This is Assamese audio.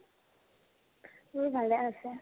মোৰো ভালে আছে